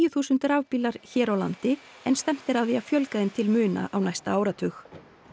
þúsund rafbílar hér á landi en stefnt er að því að fjölga þeim til muna á næsta áratug